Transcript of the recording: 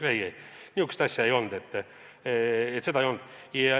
Ei-ei, sellist asja ei olnud.